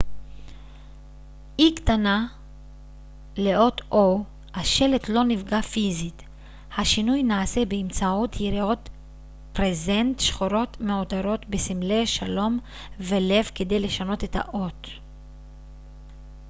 השלט לא נפגע פיזית השינוי נעשה באמצעות יריעות ברזנט שחורות מעוטרות בסמלי שלום ולב כדי לשנות את האות o לאות e קטנה